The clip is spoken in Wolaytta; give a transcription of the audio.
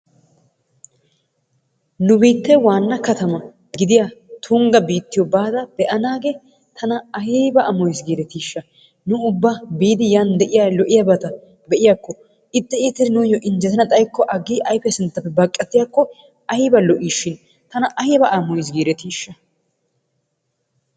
Nu biittee waanna kattama gidiyaa tungga bittiyoo baada be'anaagee tana ayba amoyees giidetiisha! Nu ubba biidi yaan lo"iyaabata be"iyaako ixxi iitidii nuuyoo injjetana xaayikko aggi ayfiyaa sinttappe baqattiyaakko ayba lo"iishin tana ayba amoyes girettishsha.